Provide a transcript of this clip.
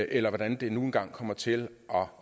eller hvordan det nu engang kommer til